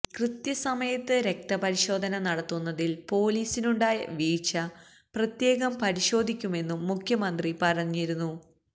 കൃത്യസമയത്ത് രക്തപരിശോധന നടത്തുന്നതിൽ പൊലീസിനുണ്ടായ വീഴ്ച പ്രത്യേകം പരിശോധിക്കുമെന്നും മുഖ്യമന്ത്രി പറഞ്ഞിരുന്നു